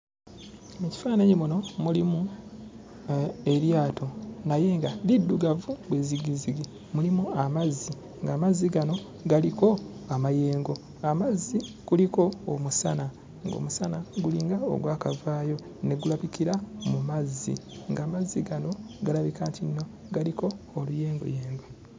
Mu kifaananyi muno mulimu eryato naye nga liddugavu be zzigizzigi, mulimu amazzi ng'amazzi gano galiko amayengo. Amazzi kuliko omusana ng'omusana gulinga ogwakavaayo ne gulabikira mu mazzi, ng'amazzi gano galabika nti nno galiko oluyengoyengo.